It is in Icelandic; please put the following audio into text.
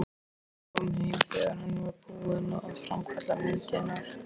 Hann kom heim þegar hann var búinn að framkalla myndirnar.